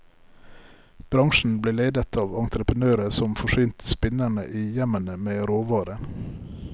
Bransjen ble ledet av entreprenører som forsynte spinnerne i hjemmene med råvarer.